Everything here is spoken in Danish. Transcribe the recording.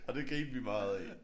Og det grinede vi meget af